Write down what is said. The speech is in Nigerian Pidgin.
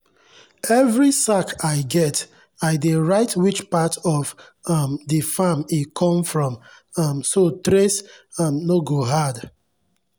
every sack i get i dey write which part of um the farm e come from um so trace um no go hard.